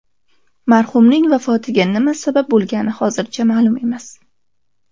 Marhumning vafotiga nima sabab bo‘lgani hozircha ma’lum emas.